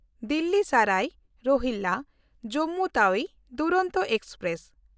Delhi Sarai ᱨᱳᱦᱤᱞᱞᱟ–ᱡᱚᱢᱢᱩ Tawi Duronto express